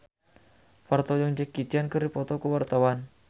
Parto jeung Jackie Chan keur dipoto ku wartawan